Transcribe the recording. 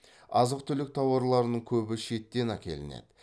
азық түлік тауарларының көбі шеттен әкелінеді